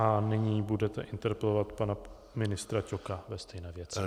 A nyní budete interpelovat pana ministra Ťoka ve stejné věci.